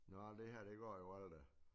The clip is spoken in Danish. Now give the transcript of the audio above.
Nåh det her det går jo aldrig